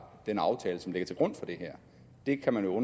den aftale som ligger til grund for det her det kan man jo